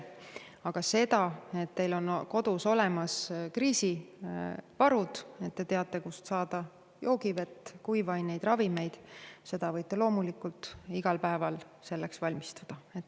Aga selleks, et teil on kodus olemas kriisivarud, et te teate, kust saada joogivett, kuivaineid, ravimeid, võite loomulikult igal päeval valmistuda.